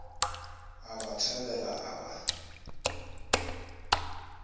a ba thabela a ba